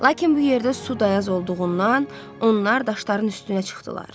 Lakin bu yerdə su dayaz olduğundan, onlar daşların üstünə çıxdılar.